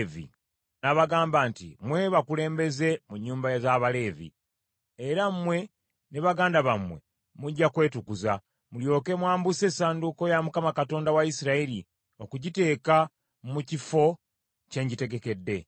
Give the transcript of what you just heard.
n’abagamba nti, “Mmwe bakulembeze mu nnyumba z’Abaleevi, era mmwe ne baganda bammwe mujja kwetukuza, mulyoke mwambuse essanduuko ya Mukama Katonda wa Isirayiri, okugiteeka mu kifo kye ngitegekedde.